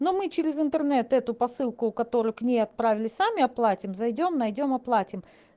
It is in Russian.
но мы через интернет эту посылку которую к ней отправили сами оплатим зайдём найдём оплатим